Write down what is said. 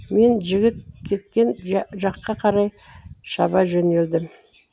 мен жігіт кеткен жаққа қарай шаба жөнелдім